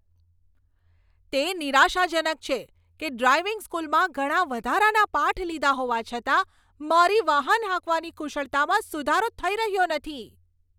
તે નિરાશાજનક છે કે ડ્રાઇવિંગ સ્કૂલમાં ઘણા વધારાના પાઠ લીધા હોવા છતાં, મારી વાહન હાંકવાની કુશળતામાં સુધારો થઈ રહ્યો નથી.